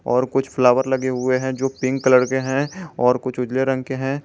और कुछ फ्लावर लगे हुए हैं जो पिंक कलर के हैं और कुछ उजले रंग के हैं।